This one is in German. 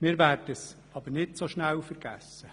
Wir werden es aber nicht so schnell vergessen.